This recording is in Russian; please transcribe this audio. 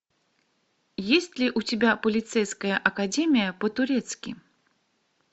есть ли у тебя полицейская академия по турецки